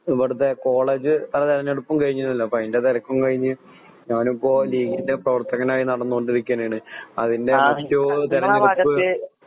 ഇബടത്തെ കോളേജ്തെരഞ്ഞെടുപ്പും കഴിഞ്ഞിരുന്നല്ലോ അപ്പോഅതിൻറെ തിരക്കും കഴിഞ്ഞ്ആഹ് ഞാനീനമ്മുടെ നടന്നുകൊണ്ടിരിക്കല്ലേ അപ്പോ അതിൻ്റെതിരക്കിലൊക്കെയായിരുന്നു നാട്ടില് ഫ്ലെക്സടിക്കലും പോസ്റ്ററടിക്കലും